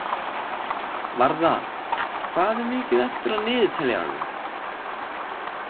Varða, hvað er mikið eftir af niðurteljaranum?